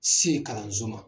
Se kalanso ma